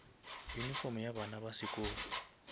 uniform ya bana ya sekolo